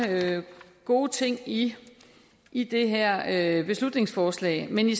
gode ting i i det her beslutningsforslag men vi